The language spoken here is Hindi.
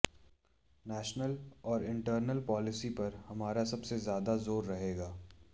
नैशनल और इंटरनल पॉलिसी पर हमारा सबसे ज्यादा जोर रहेगा